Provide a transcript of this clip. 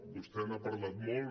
vostè n’ha parlat molt